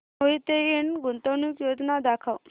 मोहिते इंड गुंतवणूक योजना दाखव